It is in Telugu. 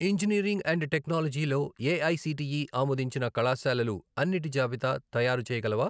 ఇంజనీరింగ్ అండ్ టెక్నాలజీ లో ఏఐసిటిఈ ఆమోదించిన కళాశాలలు అన్నిటి జాబితా తయారుచేయగలవా?